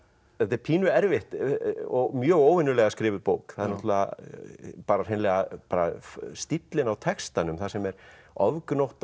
þetta er pínu erfitt og mjög óvenjulega skrifuð bók það er hreinlega stíllinn á textanum þar sem er ofgnótt